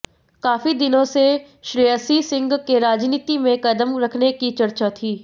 काफी दिनों से श्रेयसी सिंह के राजनीति में कदम रखने की चर्चा थी